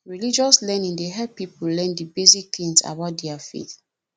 religious learning dey help pipo learn di basic things about their faith